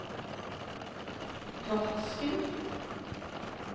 Torsken